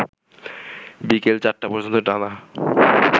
বিকেল ৪টা পর্যন্ত টানা